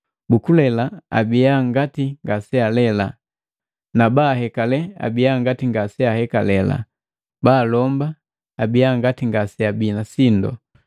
bukulela abiya ngati ngasealela, nabahekale abiya ngati ngaseaheka, balomba abiya ngati ngaseabii na sindu,